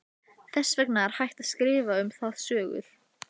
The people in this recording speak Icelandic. Þess vegna er hægt að skrifa um það sögur.